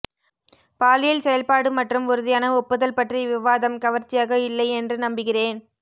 பாலியல் செயல்பாடு மற்றும் உறுதியான ஒப்புதல் பற்றிய விவாதம் கவர்ச்சியாக இல்லை என்று நம்புகிறேன்